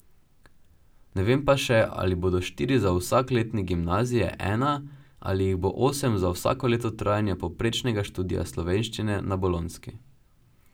Ne vem pa še, ali bodo štiri za vsak letnik gimnazije ena ali jih bo osem za vsako leto trajanja povprečnega študija slovenščine na bolonjski.